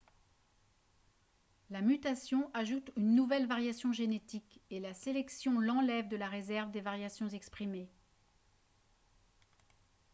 la mutation ajoute une nouvelle variation génétique et la sélection l'enlève de la réserve des variations exprimées